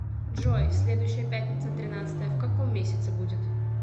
джой следующая пятница тринадцатое в каком месяце будет